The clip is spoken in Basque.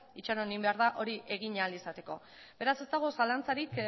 itxaron egin behar da hori egin ahal izateko beraz ez dago zalantzarik